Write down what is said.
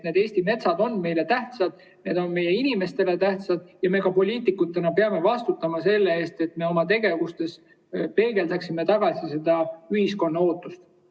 Eesti metsad on meile tähtsad, need on meie inimestele tähtsad, ja me poliitikutena peame ka vastutama selle eest, et me oma tegevuses peegeldaksime tagasi ühiskonna ootust.